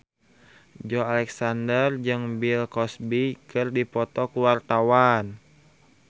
Joey Alexander jeung Bill Cosby keur dipoto ku wartawan